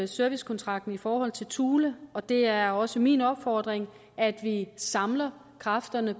servicekontrakten i forhold til thule og det er også min opfordring at vi samler kræfterne